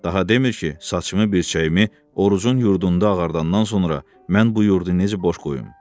Daha demir ki, saçımı, birçəyimi Orucun yurdunda ağardandan sonra mən bu yurdu necə boş qoyum?